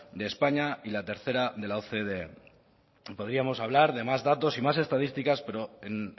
de españa y la tercera de la ocde podríamos hablar de más datos y más estadísticas pero en